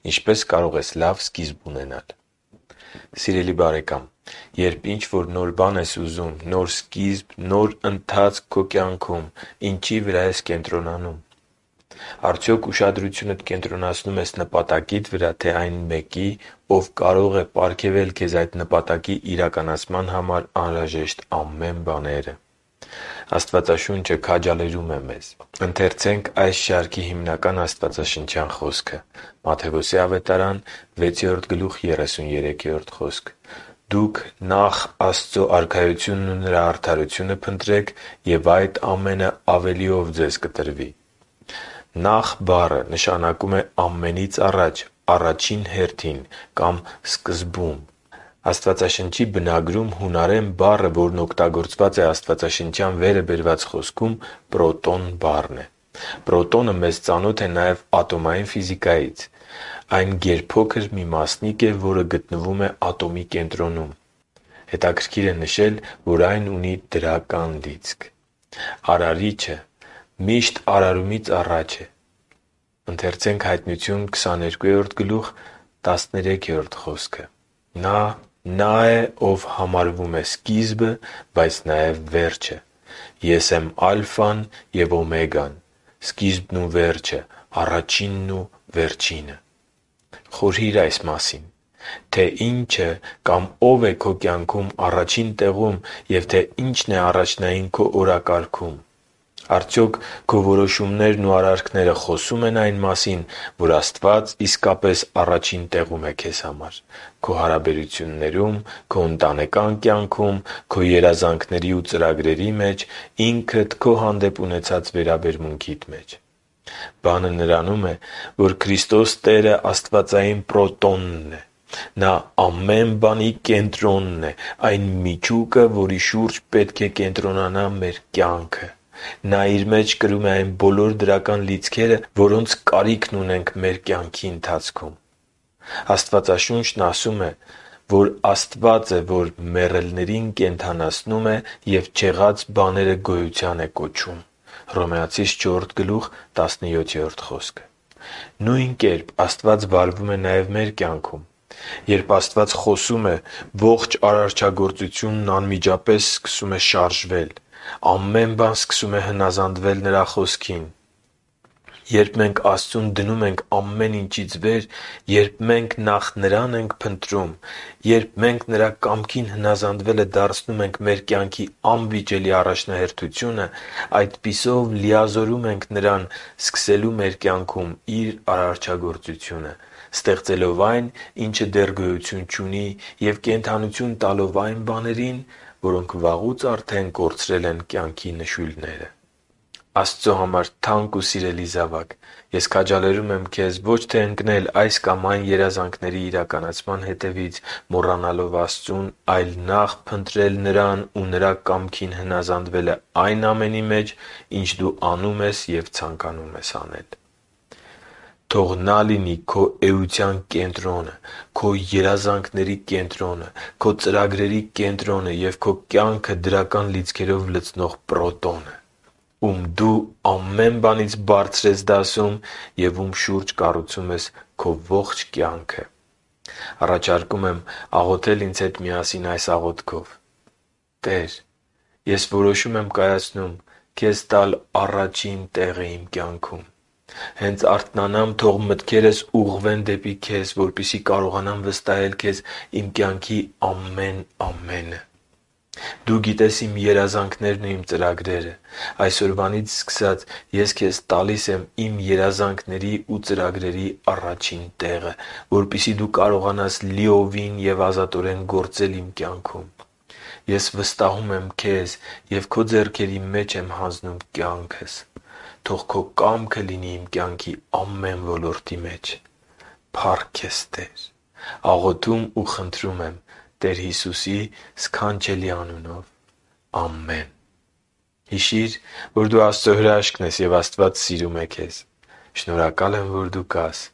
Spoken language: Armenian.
Ինչպե՞ս կարող ես լավ սկիզբ ունենալ Սիրելի բարեկա՛մ, երբ ինչ-որ նոր բան ես ուզում, նոր սկիզբ ու նոր ընթացք քո կյանքում, ինչի՞ վրա ես կենտրոնանում։ Արդյոք ողջ ուշադրությունդ կենտրոնացնում ես նպատակի՞դ վրա, թե՞ այն Մեկի, Ով կարող է պարգևել քեզ այդ նպատակի իրականացման համար անհրաժեշտ ամեն բաները: Աստվածաշունչը քաջալերում է մեզ․«Դուք նախ Աստծու Արքայությունն ու Նրա արդարությո՛ւնը փնտրեք, և այդ ամենը ավելիով ձեզ կտրվի» (Մատթեոս 6.33): «Նախ» բառը նշանակում է «ամեն ինչից առաջ», «առաջին հերթին» կամ «սկզբում»: Աստվածաշնչի բնագրում հունարեն բառը, որն օգտագործված է աստվածաշնչյան վերը բերված խոսքում «պրոտոն» բառն է։ Պրոտոնը մեզ ծանոթ է նաև ատոմային ֆիզիկայից։ Այն գերփոքր մի մասնիկ է, որը գտնվում է ատոմի կենտրոնում։ Հետաքրքիր է նշել, որ այն ունի դրական լիցք: Արարիչը միշտ արարումից առաջ է․ «Նա Նա է, ով համարվում է սկիզբը, բայց նաև վերջը. 'Ես եմ Ալֆան ու Օմեգան, Սկիզբն ու Վերջը, Առաջինն ու Վերջինը»։ (Հայտնություն 22․13 Խորհի՛ր այն մասին, թե ի՞նչը կամ ո՞վ է քո կյանքում առաջին տեղում և թե ի՞նչն է առաջնային քո օրակարգում: Արդյոք քո որոշումներն ու արարքները խոսո՞ւմ են այն մասին, որ Աստված իսկապես առաջին տեղում է քեզ համար․․․ Քո հարաբերություններում, Քո ընտանեկան կյանքում, Քո երազանքների և ծրագրերի մեջ, Ինքդ քո հանդեպ ունեցած վերաբերմունքիդ մեջ: Բանը նրանում է, որ Քրիստոս տերը «աստվածային» Պրոտոնն է: Նա ամեն բանի կենտրոնն է՝ այն միջուկը, որի շուրջ պետք է կենտրոնանա մեր կյանքը: Նա Իր մեջ կրում է այն բոլոր դրական լիցքերը, որոնց կարիքն ունենք մեր կյանքի ընթացքում: Աստվածաշունչն ասում է, որ Աստված է, որ «մեռելներին կենդանացնում է և չեղած բաները գոյության կոչում» (Հռոմեացիներին 4․17): Նույն կերպ Աստված վարվում է նաև մեր կյանքում։ Երբ Աստված խոսում է, ողջ արարչագործությունն անմիջապես սկսում է շարժվել, ամեն բան սկսում է հնազանդվել Նրա Խոսքին։ Երբ մենք Աստծուն դնում ենք ամեն ինչից վեր, երբ մենք նախ Նրան ենք փնտրում, երբ մենք Նրա կամքին հնազանդվելը դարձնում ենք մեր կյանքի անվիճելի առաջնահերթությունը, այդպիսով մենք լիազորում ենք Նրան սկսելու մեր կյանքում Իր արարչագործությունը՝ ստեղծելով այն, ինչը դեռ գոյություն չունի, և կենդանություն տալով այն բաներին, որոնք վաղուց արդեն կորցրել են կյանքի նշույլները: Աստծո համար թանկ ու սիրելի զավա՛կ, ես քաջալերում եմ քեզ ոչ թե ընկնել այս կամ այն երազանքների հետևից՝ մոռանալով Աստծուն, այլ նախ փնտրել Նրան ու Նրա կամքին հնազանդվելը այն ամենի մեջ, ինչ դու անում ես և ցանկանում ես: Թող Նա լինի քո էության կենտրոնը, քո երազանքների կենտրոնը, քո ծրագրերի կենտրոնը և քո կյանքը դրական լիցքերով լցնող Պրոտոնը, Ում դու ամեն բանից բարձր ես դասում և Ում շուրջ ես կառուցում քո ողջ կյանքը։ Առաջարկում եմ աղոթել ինձ հետ միասին այս աղոթքով․ «Տե՛ր, ես որոշում եմ կայացնում Քեզ տալ առաջին տեղը իմ կյանքում: Հենց արթնանամ, թող մտքերս ուղղվեն դեպի Քեզ, որպեսզի կարողանամ վստահել Քեզ իմ կյանքի ամեն ամենը։ Դու գիտես իմ երազանքներն ու իմ ծրագրերը: Այսօրվանից սկսած ես Քեզ տալիս եմ իմ երազանքների ու ծրագրերի առաջին տեղը, որպեսզի Դու կարողանաս լիովին և ազատորեն գործել իմ կյանքում: Ես վստահում եմ Քեզ և Քո ձեռքերի մեջ եմ հանձնում կյանքս։ Թող Քո կամքը լինի իմ կյանքի ամեն ոլորտի մեջ։ Փա՜ռք քեզ, Տե՛ր: Աղոթում ու խնդրում եմ Տեր Հիսուսի սքանչելի անունով։ Ամե՛ն»: Հիշի՛ր, որ դու Աստծո հրաշքն ես, և Աստված սիրում է քեզ։ Շնորհակալ եմ, որ դու կա՛ս